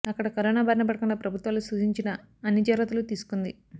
అక్కడ కరోనా బారిన పడకుండా ప్రభుత్వాలు సూచించిన అన్ని జాగ్రత్తలు తీసుకుంది